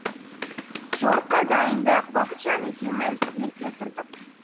жорыққа дайындық бақытжан екеуміз ерте тұрдық